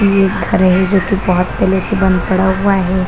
ये घर है जो की बहुत पहले से बंद पड़ा हुआ है।